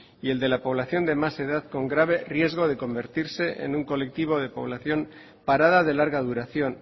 y el de la población con más edad con grave riesgo de convertirse en un colectivo de población parada de larga duración